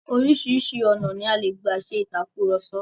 Oríṣìíríṣìí ọ̀nà ni a gbà ṣe ìtàkurọ̀sọ.